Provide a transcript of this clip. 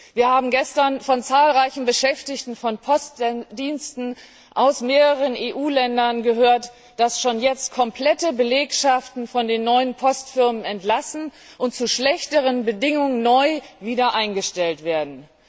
Wir haben gestern von zahlreichen Beschäftigten von Postdiensten aus mehreren EU Ländern gehört, dass schon jetzt komplette Belegschaften von den neuen Postfirmen entlassen und zu schlechteren Bedingungen wiedereingestellt werden.